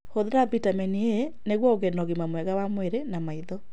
Hũthĩra Bitamini A nĩguo ũgĩe na ũgima mwega wa mwĩrĩ na maitho.